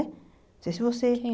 Não sei se você que